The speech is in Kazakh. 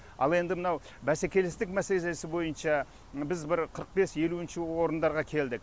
ал енді мынау бәсекелестік мәселесі бойынша біз бір қырық бес елуінші орындарға келдік